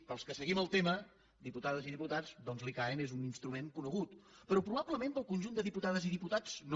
per als que seguim el tema diputades i diputats doncs l’icaen és un instrument conegut però probablement per al conjunt de diputades i diputats no